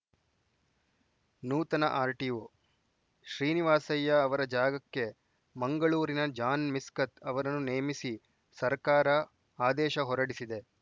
ನೂತನ ಆರ್‌ಟಿಒ ಶ್ರೀನಿವಾಸಯ್ಯ ಅವರ ಜಾಗಕ್ಕೆ ಮಂಗಳೂರಿನ ಜಾನ್‌ ಮಿಸ್ಕತ್‌ ಅವರನ್ನು ನೇಮಿಸಿ ಸರ್ಕಾರ ಆದೇಶ ಹೊರಡಿಸಿದೆ